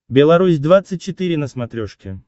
белорусь двадцать четыре на смотрешке